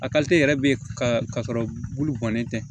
A yɛrɛ bɛ ka sɔrɔ bulu gɔnnen tɛ